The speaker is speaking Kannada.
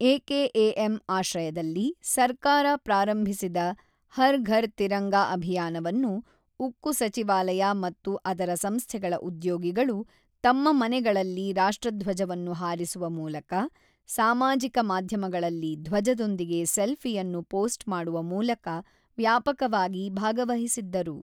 ಎಕೆಎಎಂ ಆಶ್ರಯದಲ್ಲಿ ಸರ್ಕಾರ ಪ್ರಾರಂಭಿಸಿದ ಹರ್ ಘರ್ ತಿರಂಗಾ ಅಭಿಯಾನವನ್ನು ಉಕ್ಕು ಸಚಿವಾಲಯ ಮತ್ತು ಅದರ ಸಂಸ್ಥೆಗಳ ಉದ್ಯೋಗಿಗಳು ತಮ್ಮ ಮನೆಗಳಲ್ಲಿ ರಾಷ್ಟ್ರಧ್ವಜವನ್ನು ಹಾರಿಸುವ ಮೂಲಕ, ಸಾಮಾಜಿಕ ಮಾಧ್ಯಮಗಳಲ್ಲಿ ಧ್ವಜದೊಂದಿಗೆ ಸೆಲ್ಫಿಯನ್ನು ಪೋಸ್ಟ್ ಮಾಡುವ ಮೂಲಕ ವ್ಯಾಪಕವಾಗಿ ಭಾಗವಹಿಸಿದ್ದರು.